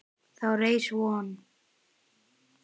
Þá reis von